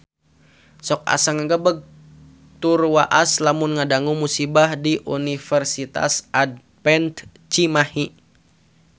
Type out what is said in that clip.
Sok asa ngagebeg tur waas lamun ngadangu musibah di Universitas Advent Cimahi